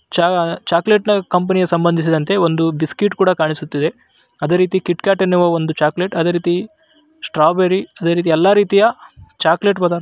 ಚಾ ಚಾಕಲೆಟ್‌ ನ ಕಂಪನಿ ಯ ಸಂಭದಿಸಿದಂತೆ ಒಂದು ಬಿಸ್ಕಟ್‌ ಕೂಡ ಕಾಣಿಸ್ತಾ ಇದೆ ಅದೇ ರೀತಿ ಕಿಟ್‌ ಕ್ಯಾಟ್‌ ಅನ್ನುವ ಒಂದು ಚಾಕಲೆಟ್ ಅದೇ ರೀತಿ ಸ್ಟ್ರಾಬರಿ ಅದೇ ರೀತಿ ಎಲ್ಲಾ ರೀತಿಯ ಚಾಕಲೆಟ್‌ ಪದಾರ್ಥ --